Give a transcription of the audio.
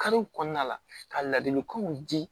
Kariw kɔnɔna la ka ladilikanw di